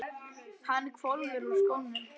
UNNUR: Hann hvolfir úr skónum.